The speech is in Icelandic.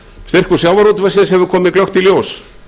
styrkur sjávarútvegsins hefur komið glöggt í ljós